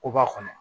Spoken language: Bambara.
Koba kɔnɔ